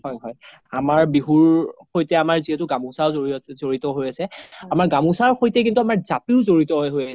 হয় আমাৰ বিহুৰ সৈতে আমাৰ যিহেতু গামোচাও জৰিত হৈ আছে আমাৰ গামোচাৰ সৈতে কিন্তু জাপিও জৰিত হৈ আছে